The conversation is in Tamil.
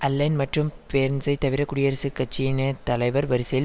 அலென் மற்றும் பேர்ன்ஸை தவிர குடியரசுக் கட்சியின் தலைவர் வரிசையில்